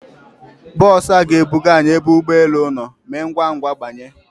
Bọs a ga ebuga anyị ebe ụgbọ elu nọ, Mee ngwa ngwa banye!